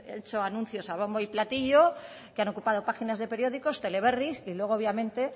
hecho anuncios a bombo y platillo que han ocupado páginas de periódicos teleberris y luego obviamente